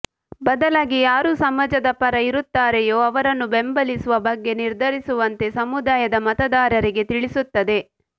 ಬದಲಾಗಿ ಯಾರು ಸಮಾಜದ ಪರ ಇರುತ್ತಾರೆಯೋ ಅವರನ್ನು ಬೆಂಬಲಿಸುವ ಬಗ್ಗೆ ನಿರ್ಧರಿಸುವಂತೆ ಸಮುದಾಯದ ಮತದಾರರಿಗೆ ತಿಳಿಸುತ್ತದೆ